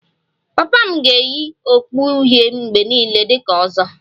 Papa m ga-eyi okpu uhie mgbe niile dị ka 'ozo'